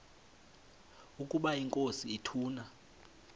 ukaba inkosi ituna